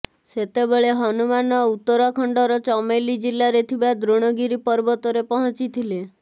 ସେତେବେଳେ ହନୁମାନ ଉତ୍ତରାଖଣ୍ଡର ଚମେଲି ଜିଲ୍ଲାରେ ଥିବା ଦ୍ରୋଣଗିରି ପର୍ବତରେ ପହଞ୍ଚିଥିଲେ